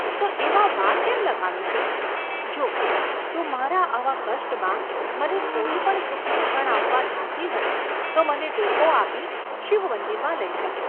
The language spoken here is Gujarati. ‘તો એમાં વાર કેમ લગાડો છો?’ ‘જો, તું મારા આવા કષ્ટમાં મને થોડી પણ સુખની ક્ષણ આપવા ધારતી હો તો મને ટેકો આપી શિવમંદિરમાં લઈ જા.